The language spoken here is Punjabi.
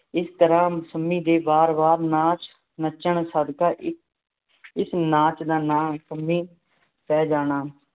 ਇਸ ਤਰ੍ਹਾਂ ਸੰਮੀ ਦੇ ਬਾਰ ਬਾਰ ਨਾਚ ਨੱਚਣ ਸਦਕਾ ਇਸ ਨਾਚ ਦਾ ਨਾਮ ਸੰਮੀ ਪੈ ਜਾਣਾ